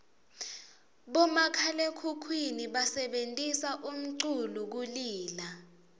bomakhalaekhukhwini basebentisa umculu kulila